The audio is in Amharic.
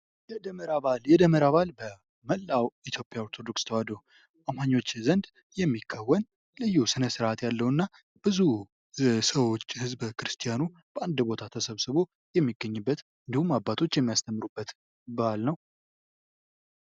የደመራ በአል የደመራ በአል በመላው ኢትዮጵያ ኦርቶዶክስ ተዋህዶ አማኞች ዘንድ የሚከወን ልዩ ስነ-ስርዓት ያለው እና ብዙ ሰዎች ህዝበ ክርስቲያኑ በአንድ ቦታ የሚገኝበት እንዲሁም አባቶች የሚያስተምሩበት በአል ነው።